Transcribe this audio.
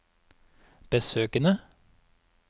besøkene